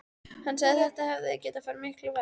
Hann sagði að þetta hefði getað farið miklu verr.